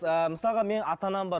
ыыы мысалға менің ата анам бар